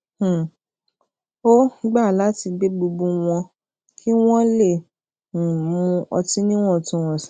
um ó gba lati gbe gbogbo won ki won le um mu ọti niwọntunwọn si